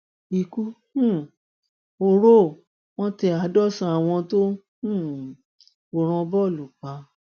ikú um oró ò wọn tẹ àádọsànán àwọn tó ń um wòran bọọlù pa